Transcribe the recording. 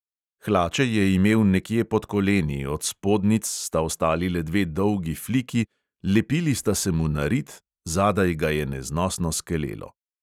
Hlače je imel nekje pod koleni, od spodnjic sta ostali le dve dolgi fliki, lepili sta se mu na rit, zadaj ga je neznosno skelelo.